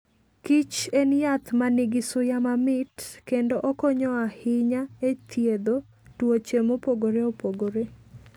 kich en yath ma nigi suya mamit kendo okonyo ahinya e thiedho tuoche mopogore opogore.